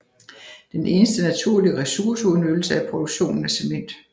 Den eneste naturlige ressourceudnyttelse er produktionen af cement